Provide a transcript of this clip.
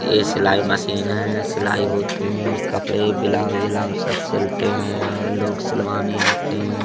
ये सिलाई मशीन है सिलाई होती है कपड़े ब्लाउज उलाउज सब सिलते है और लोग सिलवाने आते है।